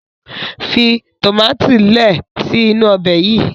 fi tomati lẹẹ si inu Ọbẹ̀ yí.